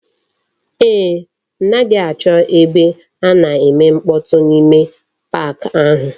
Eeh, m naghi acho ebe a na-eme mkpotu n'ime pak ahu.